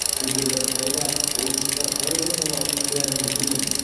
себебі қытайда ойыншықтар қалай жасалатынын бәріміз білеміз